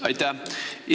Aitäh!